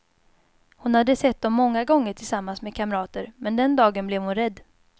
Hon hade sett dem många gånger tillsammans med kamrater, men den dagen blev hon rädd.